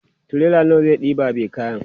tirela nawa zai ɗeba be kayan?